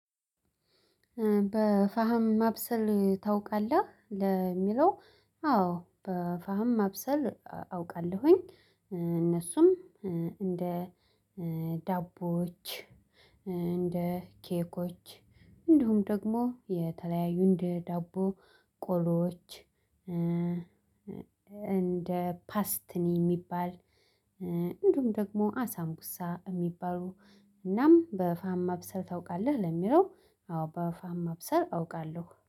በፋህም ማብሰል ታውቃለህ? ለሚለው አዎ በፋህም ማብሰል አውቃለሁኝ እነሱም እንደ ዳቦዎች እንደ ኬኮች እንደሁም ደግሞ የተለያዩ እንደ ዳቦ ቆሎዎች እንደ ፓስትኒ የሚባል እንደውም ደግሞ አሳምኩሳ የሚባሉ እናም በፋህም ማብሰል ታውቃለህ ለሚለው አዎ በፋህም ማብሰል አውቃለሁ።